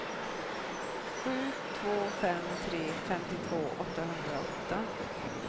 sju två fem tre femtiotvå åttahundraåtta